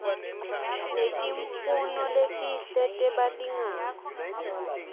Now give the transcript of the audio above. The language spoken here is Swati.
netimfuno letinhle tebalingani